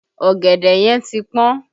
Ọ̀gẹ̀dẹ̀ yẹn ti pọn